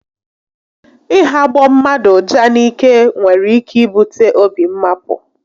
Ị hagbọ mmadụ uja n'ike nwere ike ibute obi mmapụ